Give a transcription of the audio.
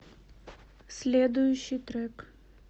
следующий трек